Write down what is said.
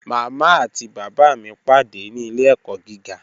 Mama àti baba mi pàdé ní ilẹ̀-ẹ̀kọ̀ gígà.